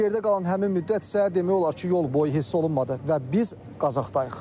Geri də qalan həmin müddət isə demək olar ki, yol boyu hiss olunmadı və biz Qazaxdayıq.